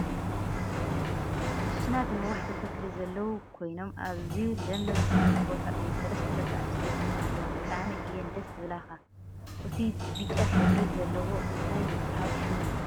ውስናት ነዋሕቲ ተክሊ ዘለዉ ኮይኖም ኣዝዩ ለምለም ዝኮነ ቦታ እዩ። ሰለስተ ደቂ ኣንስድትዮ ድማ ኣለዎ። ብጣዕሚ እየን ደስ ዝብላካ እቱይ ብጫ ሕብሪ ዘለዎ እንታይ ይብሃል ሽሙ?